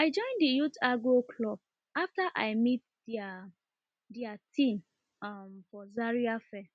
i join di youth agro club afta i meet dia dia team um for zaria fair